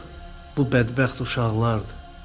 bu bədbəxt uşaqlardır.